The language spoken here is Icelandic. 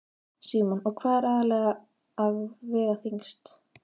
Símon: Og hvað er aðallega að vega þyngst?